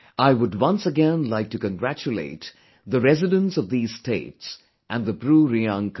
I would once again like to congratulate the residents of these states and the BruReang community